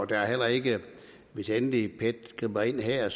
der er heller ikke hvis endelig pet griber ind her